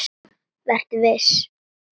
Vertu viss.